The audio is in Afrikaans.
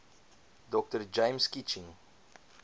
dr james kitching